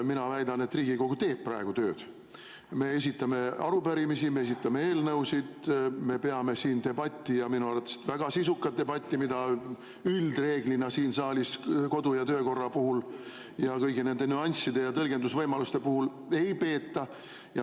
Mina väidan, et Riigikogu teeb praegu tööd: me esitame arupärimisi, me esitame eelnõusid, me peame siin debatti ja minu arvates väga sisukat debatti, mida üldreeglina siin saalis kodu‑ ja töökorra puhul kõigi nende nüansside ja tõlgendusvõimaluste üle ei peeta.